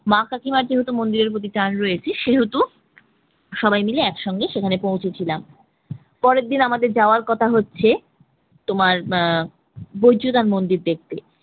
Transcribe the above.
মা কাকিমার যেহেতু মন্দির এর প্রতি টান রয়েছে সেহেতু সবাই মিলে একসঙ্গে সেখানে পৌঁছেছিলাম পরের দিন আমাদের যাওয়ার কথা হচ্ছে তোমার আহ বৈদ্যনাথ মন্দির দেখতে